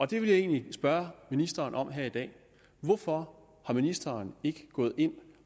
det vil jeg egentlig spørge ministeren om her i dag hvorfor er ministeren ikke gået ind